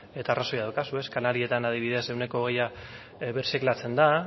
eta arrazoia daukazue kanarietan adibidez ehuneko hogei birziklatzen da